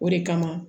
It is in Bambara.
O de kama